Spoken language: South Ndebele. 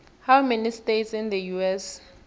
how many states in the us